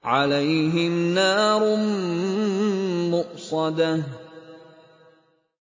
عَلَيْهِمْ نَارٌ مُّؤْصَدَةٌ